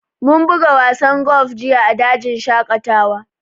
Mun buga wasan golf jiya a dajin shaƙatawa